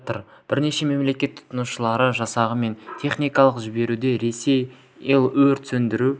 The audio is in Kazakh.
әлі де келіп жатыр бірнеше мемлекет құтқарушылар жасағы мен техникаларын жіберуде ресей ил өрт сөндіру